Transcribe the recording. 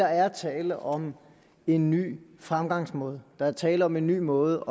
er tale om en ny fremgangsmåde der er tale om en ny måde